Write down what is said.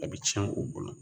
A bɛ tiɲɛ u bolo